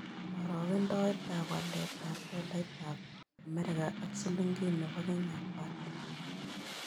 Karogendoetap waletap tolaitap amerika ak silingiit ne po kenya ko ata